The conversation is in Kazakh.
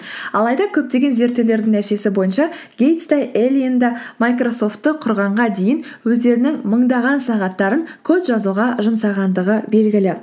алайда көптеген зерттеулердің нәтижесі бойынша гейтс те эллиен де майкрософтты құрғанға дейін өздерінің мыңдаған сағаттарын код жазуға жұмсағандығы белгілі